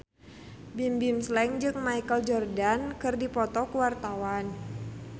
Bimbim Slank jeung Michael Jordan keur dipoto ku wartawan